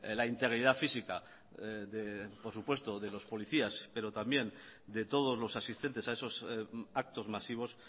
la integridad física de por supuesto los policías pero también de todos los asistentes a esos actos masivos